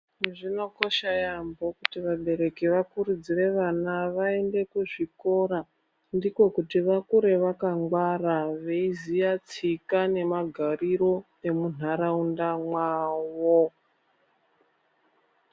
Zvinokosha yaambo kuti vabereki vakurudzire vana vaende kuzvikora ndiko kuti vakure vakangwara veiziya tsika nemagariro emuntharaunda mwavo.